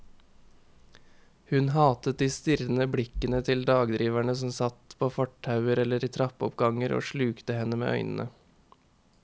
Hun hatet de strirrende blikkende til dagdriverne som satt på fortauer eller i trappeoppganger og slukte henne med øynene.